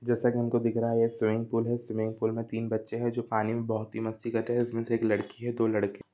जैसा कि हम को दिख रहा है यह स्विमिंग पूल है स्विमिंग पूल में तीन बच्चे हैं जो पानी में बहुत ही मस्ती कर रहे है इसमें से एक लड़की है दो लड़के--